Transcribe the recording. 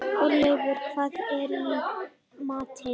Hrolleifur, hvað er í matinn?